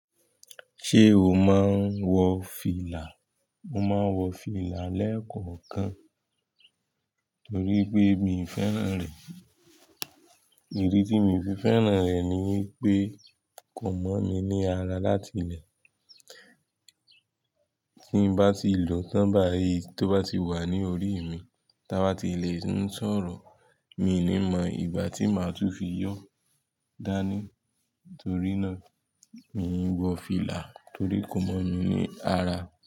Ṣé o máa ń wọ fìlà? Mo máa ń wọ fìlà lẹ́ẹ̀kọ̀ọ̀kan torí pé miì fẹ́ràn rẹ̀. Ìdí tí míì fi fẹ́ràn rẹ̀ ni pé kò mọ̀ mi ní ara látilẹ̀. Tí n bá ti lòó tán báyìí tó bá ti wà ní orí mi, táa bá ti lè ń sọ̀rọ̀, miì ní mọ ìgbà tí màá tún fi yọọ́ dání Torí náà, miì ń wọ fìlà torí kò mọ́ mi ní ara.